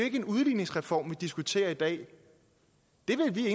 ikke en udligningsreform vi diskuterer i dag det vil vi i